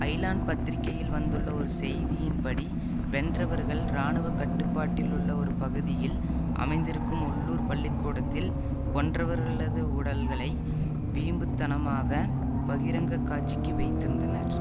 Island பத்திரிகையில் வந்துள்ள ஒரு செய்தியின் படி வென்றவர்கள் இராணுவ கட்டுப்பாட்டிலுள்ள ஒரு பகுதியில் அமைந்திருக்கும் உள்ளூர் பள்ளி கூடத்தில் கொன்றவர்களது உடல்களை வீம்புத்தனமாக பகிரங்க காட்சிக்கு வைத்திருந்தனர்